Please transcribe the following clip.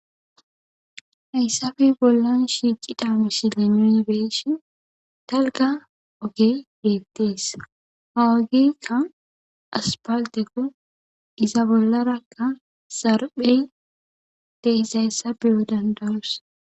Haysape bolan shiqida missilen nuni be'ishin dalga ogey betes ha ogeyka asphaltekko iza bolaraka zarphey de'izaysa be'o danda'os.